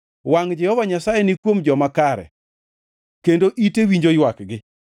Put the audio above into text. Wangʼ Jehova Nyasaye ni kuom joma kare kendo ite winjo ywakgi;